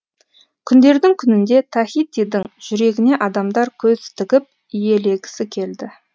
күндердің күнінде тахитидің жүрегіне адамдар көз тігіп иелегісі келді